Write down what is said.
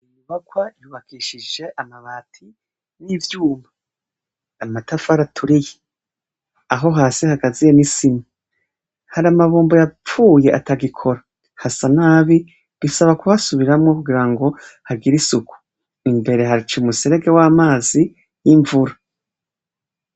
Inyubakwa yubakishije amabati nivyuma amatafari aturiye aho hasi hagaziwe nisima hari amabombo yapfuye atagikora hasa nabi bisaba kuhasubiramwo kugirango hagire isuku imbere hacumuserege wamazi yimvura